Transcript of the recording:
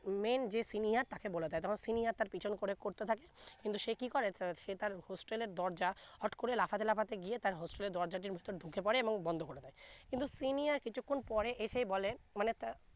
main যে senior তাকে বলে দেয় তখন senior তার পিছন করে করতে থাকে কিন্তু সে কি করে তা সে তার hostel এর দরজা হট করে লাফাতে লাফাতে গিয়ে তার hostel এর দরজাটির ভিতর ঢুকে পরে এবং বন্ধ করে দেয় কিন্তু senior কিছুক্ষন পরে এসে বলে মানে তা